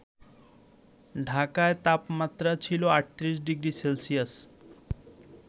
ঢাকায় তাপমাত্রা ছিল ৩৮ ডিগ্রি সেলসিয়াস